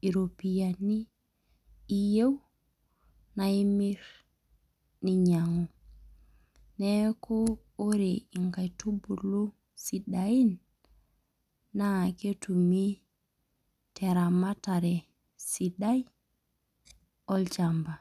iropiyiani iyieu, na imir ninyang'u. Neeku ore inkaitubulu sidain, naa ketumi teramatare sidai, olchamba.